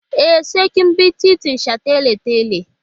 E, sai kin bi titin shataletale.